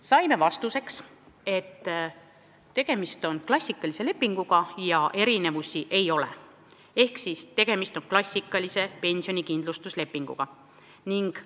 Saime vastuseks, et tegemist on klassikalise pensionikindlustuslepinguga, erinevusi ei ole.